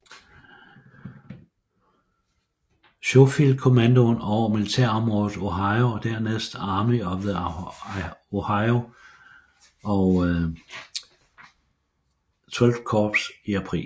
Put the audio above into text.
Schofield kommandoen over militærområdet Ohio og dernæst Army of the Ohio og XXIII Korps i april